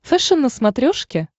фэшен на смотрешке